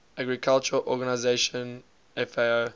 agriculture organization fao